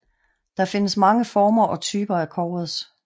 Der findes mange former og typer af covers